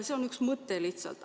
See on üks mõte lihtsalt.